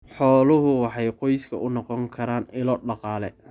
Xooluhu waxay qoyska u noqon karaan ilo dhaqaale.